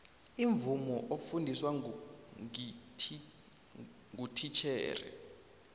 imvumo ofundiswa ngititjhere